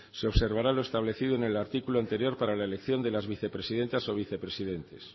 se observará lo establecido en el artículo anterior para la elección de las vicepresidentas o vicepresidentes